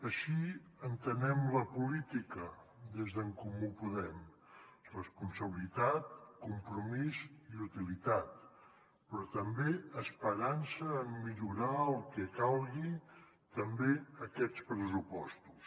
així entenem la política des d’en comú podem responsabilitat compromís i utilitat però també esperança en millorar el que calgui també aquests pressupostos